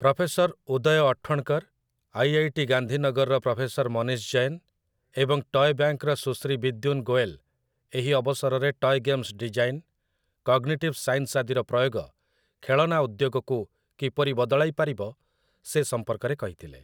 Professor Uday Athavankar , IIT. ଗାନ୍ଧୀନଗରର professor Manish Jain ଏବଂ 'toy ବ୍ୟାଙ୍କ୍'ର ସୁଶ୍ରୀ ବିଦ୍ୟୁନ୍ ଗୋଏଲ୍ ଏହି ଅବସରରେ toy games design, cognitive science ଆଦିର ପ୍ରୟୋଗ ଖେଳଣା ଉଦ୍ୟୋଗକୁ କିପରି ବଦଳାଇ ପାରିବ ସେ ସମ୍ପର୍କରେ କହିଥିଲେ ।